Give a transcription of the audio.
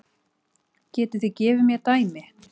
Getið þið gefið mér dæmi?